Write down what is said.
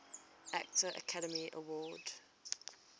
actor academy award